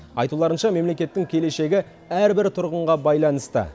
айтуларынша мемлекеттің келешегі әрбір тұрғынға байланысты